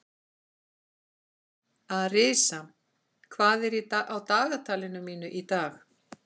Arisa, hvað er á dagatalinu mínu í dag?